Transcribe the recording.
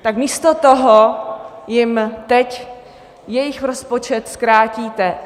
Tak místo toho jim teď jejich rozpočet zkrátíte.